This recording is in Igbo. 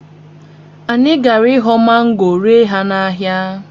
Anyị gara ịghọ mango ree ha n’ahịa